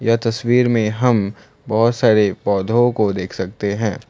तस्वीर में हम बहोत सारे पौधों को देख सकते हैं।